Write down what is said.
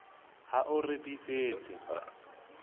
ha o re re bitsetse